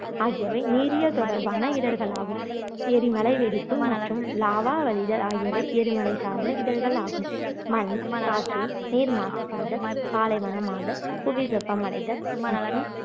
ஆகியவை நீரியல் தொடர்பான இடர்கள் ஆகும் எரிமலை வெடிப்பு மற்றும் lava வழிதல் ஆகியவை எரிமலை சார்ந்த இடர்கள் ஆகும் மண் காற்று நீர் மாசுபடுதல் பாலைவனமாதல் புவி வெப்பமடைதல் மற்றும்